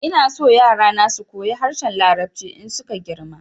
Ina so yara na su koyi harshen larabci in su ka girma